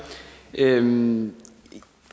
jamen